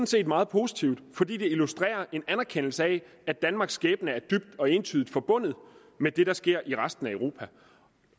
set meget positivt fordi det illustrerer at en anerkendelse af at danmarks skæbne er dybt og entydigt forbundet med det der sker i resten af europa